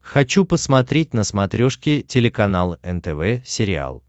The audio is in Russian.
хочу посмотреть на смотрешке телеканал нтв сериал